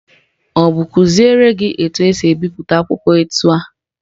Ọ bụ kụziri gị etu esi ebipụta akwụkwọ etu a?